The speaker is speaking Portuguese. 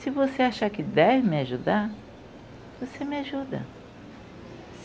Se você achar que deve me ajudar, você me ajuda.